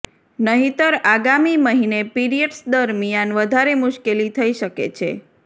નહીતર આગામી મહિને પીરિયડ્સ દરમિયાન વધારે મુશ્કેલી થઇ શકે છે